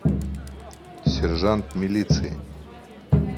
сержант милиции